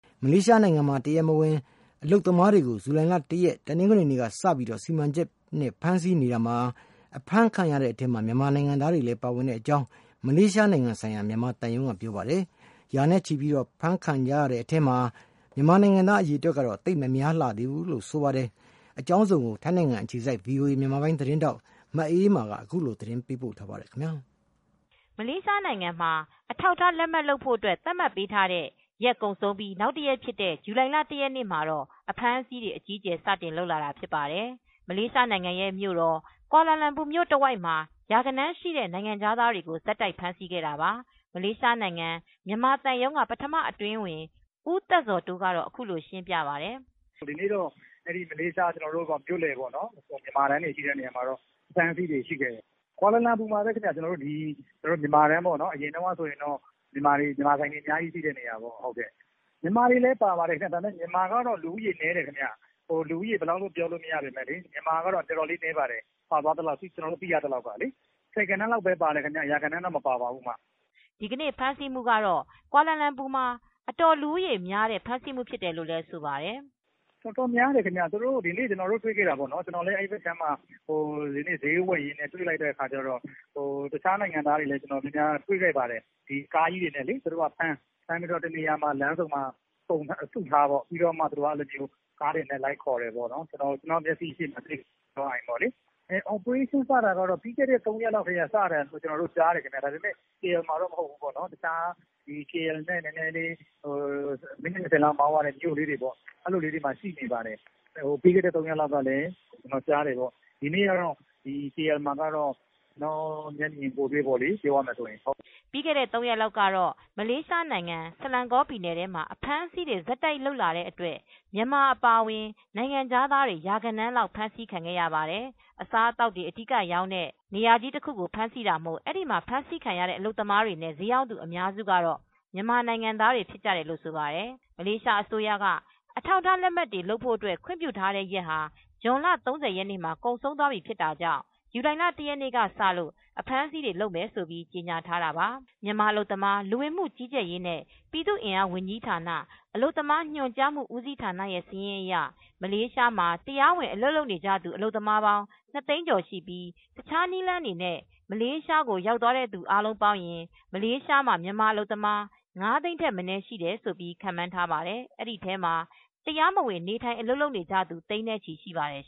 မလေးရှားနိုင်ငံမှာ တရားမဝင် အလုပ်သမားတွေကို ဇူလိုင် ၁ ရက် တနင်္ဂနွေနေ့ကစပြီး စီမံချက်နဲ့ ဖမ်းဆီးနေတာမှာ အဖမ်းခံရတဲ့အထဲ မြန်မာနိုင်ငံသားတွေလည်း ပါဝင်တဲ့အကြောင်း မလေးရှားနိုင်ငံဆိုင်ရာ မြန်မာသံရုံးကပြောပါတယ်။ ရာနဲ့ချီပြီးတော့ အဖမ်းခံကြရတဲ့အထဲမှာ မြန်မာနိုင်ငံသားအရေတွက်ကတော့ သိပ်မများလှသေးဘူးလို့ ဆိုပါတယ်။ အကြောင်းစုံကိုတော့ ထိုင်းနိုင်ငံအခြေစိုက် VOA မြန်မာပိုင်း သတင်းထောက် မအေးမာကသတင်းပေးပို့ထားပါတယ်။ မလေးရှားနိုင်ငံမှာ အထောက်အထားလက်မှတ်လုပ်ဖို့ သတ်မှတ်ပေးထားတဲ့ ရက်ကုန်ဆုံးပြိး နောက်တရက်ဖြစ်တဲ့ဇူလိုင်လ ရက်နေ့ မှာအဖမ်းအဆီးတွေ အကြီးအကျယ်စလုပ်လာတာဖြစ်ပါတယ်။ မလေးရှားနိုင်ငံရဲ့မြို့တော်ကွာလာလမ်ပူမြို့ တဝိုက်မှာ ရာဂဏန်းရှိတဲ့နိုင်ငံခြားသားတွေကို ဆက်တိုက်ဖမ်းဆီးခဲ့တာပါ။ မလေးရှားနိုင်ငံမြန်မာသံရုံးကပထမအတွင်းဝန် ဦးသက်ဇော်တိုးကတော့ အခုလိုရှင်းပြပါတယ်။ "ဒီနေ့ မလေးရှား မြန်မာတန်းတွေရှိတဲ့နေရာမှာ အဖမ်းအဆီးတွေရှိတယ်။ ကွာလာလမ်ပူမှာပဲခင်ဗျ ကျနော်တို့အရင်တုန်းက မြန်မာဆိုင်တန်းတွေရှိတဲ့နေရာမှာပဲခင်ဗျ မြန်မာတွေလည်းပါသွားပါတယ်။ လူဦးရေဘယ်လောက်လို့ပြောလို့မရပေမဲ့ မြန်မာတွေကပါတာနည်းပါတယ် ဆယ်ဂဏန်းလောက်ပဲပါပါတယ်။ ရာဂဏန်းလောက်တော့မပါဘူးခင်ဗျ' ဒီနေ့ဖမ်းဆီးမူကတော့ ကွာလာလမ်ပူမှာ အတော်လူဦးရေများတဲ့ ဖမ်းဆီးမူဖြစ်တယ်လို့ လည်းသူက ဆိုပါတယ်။ "တော်တော်များတယ်ခင်ဗျ သူတို့ဒီနေ့ ကျနော်တွေ့ခဲ့တာ အဲဒီဘက်မှာဈေးဝယ်ရင်းတွေ့ခဲ့တာတခြားနိုင်ငံသားတွေ ကိုလည်းတွေခဲ့ပါတယ်။ သူတို့က ကားကြီးတွေနဲ့ ဖမ်းလမ်းဆုံမှာစုထားပြီး ကားတွေနဲ့ လိုက်ခေါ်တယ်ပေါ့နော်။ ကျနော်မျက်စိရှေတင်ပဲ အော်ပရေးရှင်းစတာကတော့ ပြီးခဲ့တဲ့ ၃ရက်လောက်စတယ်။ ကေအယ်လ် မှာတော့မဟုတ်ဘူး ပေါ့ တခြားကေအယ်လ်နဲ့ မိနစ် ၂၀လောက်မောင်းရတဲ့နေရာမှာတော့ ပြီးခဲ့တဲ့ရက်ကတည်းကစတယ် ဒီနေ့ ကွာလာလမ်ပူမှာတော့ ကျနော်မျက်မြင်ကိုယ်တွေပေါ့လေ" ပြီးခဲ့တဲ့ ၃ရက်လောက်တော့ မလေးရှားနိုင်ငံ ဆလန်ကောပြည်နယ်ထဲမှာ အဖမ်းအဆီးတွေဆက်တိုက်လုပ်လာတဲ့အတွက်မြန်မာ အပါအဝင်နိုင်ငံခြားသားတွေ ရာဂဏန်းလောက်ဖမ်းဆီးခံခဲ့ရပါတယ်။ အစားအသောက်တွေအဓိကရောင်းတဲ့ food court နေရာကြီးတခုကိုဖမ်းဆီးတာမို့အဲဒီမှာ ဖမ်းဆီးခံရတဲ့ အလုပ်သမားတွေနဲ့ ဈေးရောင်းသူအများစုကမြန်မာနိုင်ငံသားတွေလို့လည်းဆိုပါတယ်။ မလေးရှားအစိုးရက အထောက်အထားလက်မှတ်တွေ လုပ်ဖို့ ခွင့်ပြုထားတဲ့ရက်ဟာ ဇွန်လ ၃၀မှာ ကုန်ဆုံးသွားပြီဖြစ်တာကြောင့် ဇူလိုင် ၁ရက်ကစလို့အဖမ်းဆီးတွေ လုပ်မယ်လို့ကြေညာထားတာပါ။ မြန်မာ အလုပ်သမားလူဝင်မူကြီးကြပ်ရေနဲ့ ပြည်သူအင်အားဝန်ကြီးဌာန အလုပ်သမားညွန်ကြားမူဦးစီးဌာနရဲ့ စာရင်းအရ မလေးရှားမှာ တရားဝင်အလုပ်လုပ်နေကြသူ အလုပ်သမားပေါင်း ၂ သိန်းကျော်ရှိပြီး တခြားနည်းလမ်းတွေနဲ့ မလေးရှားကိုရောက်သွားသူအားလုံးပေါင်းရင် မလေးရှားမှာ မြန်မာအလုပ်သမား ၅ သိန်း ထက်မနည်းရှိတယ်ခန့်မှန်းထားပါတယ်။ အဲဒီထဲမှာ တရားမဝင် နေထိုင် အလုပ်လုပ်နေကြသူ သိန်းနဲ့ချီရှိပါတယ်